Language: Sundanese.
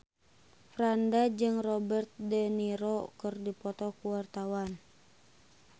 Franda jeung Robert de Niro keur dipoto ku wartawan